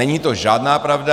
Není to žádná pravda.